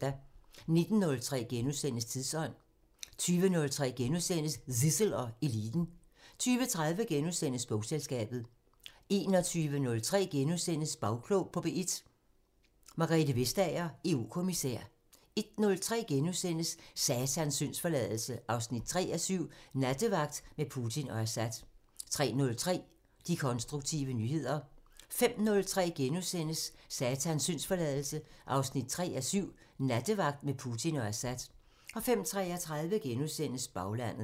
19:03: Tidsånd * 20:03: Zissel og Eliten * 20:30: Bogselskabet * 21:03: Bagklog på P1: Margrethe Vestager, EU-kommissær * 01:03: Satans syndsforladelse 3:7 – Nattevagt med Putin og Assad * 03:03: De konstruktive nyheder 05:03: Satans syndsforladelse 3:7 – Nattevagt med Putin og Assad * 05:33: Baglandet *